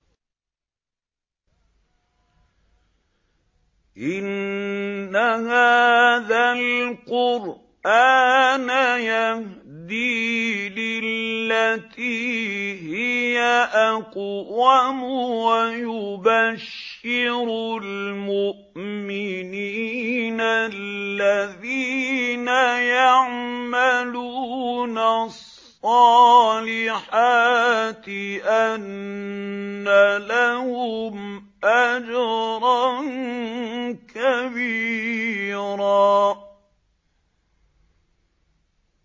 إِنَّ هَٰذَا الْقُرْآنَ يَهْدِي لِلَّتِي هِيَ أَقْوَمُ وَيُبَشِّرُ الْمُؤْمِنِينَ الَّذِينَ يَعْمَلُونَ الصَّالِحَاتِ أَنَّ لَهُمْ أَجْرًا كَبِيرًا